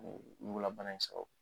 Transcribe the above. ɲugulabana y'i sɔrɔ.